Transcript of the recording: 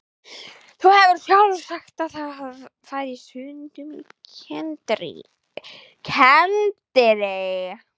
Þú hefur sjálf sagt að hann fari stundum á kenndirí.